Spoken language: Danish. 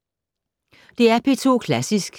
DR P2 Klassisk